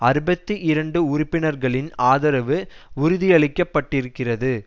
அறுபத்தி இரண்டு உறுப்பினர்களின் ஆதரவு உறுதியளிக்க பட்டிருக்கிறது